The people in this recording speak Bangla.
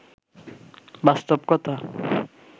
বাস্তব কথা